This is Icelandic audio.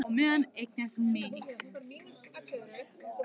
Og á meðan eignaðist hún mig.